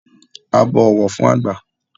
A bó ọwọ fún àgba